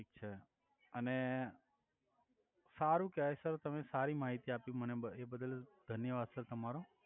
thick છે અને સારુ કેવાય સર તમે સારી મહિતી આપી મને એ બદલ ધન્યવાદ સર તમારો